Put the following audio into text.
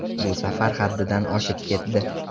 Bu safar haddidan oshib ketdi.